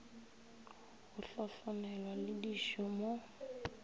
go hlohlonelwa le dišo mo